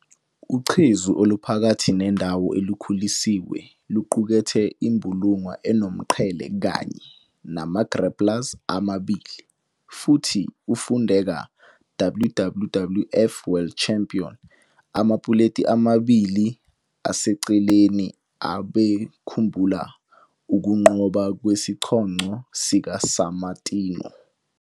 Ucezu oluphakathi nendawo olukhulisiwe luqukethe imbulunga enomqhele kanye nama-grapplers amabili, futhi ufundeka "WWWF World Champion", amapuleti amabili aseceleni abekhumbula ukunqoba kwesicoco sikaSammartino.